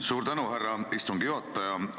Suur tänu, härra istungi juhataja!